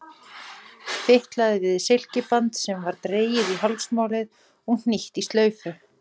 Fitlaði við silkiband sem var dregið í hálsmálið og hnýtt í slaufu.